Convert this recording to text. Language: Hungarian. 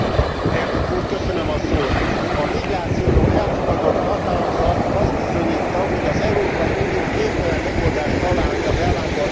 A migrációról elfogadott határozat azt bizonyítja, hogy az Európai Unió képtelen megoldást találni a bevándorlási válságra.